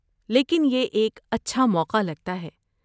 لیکن یہ ایک اچھا موقع لگتا ہے۔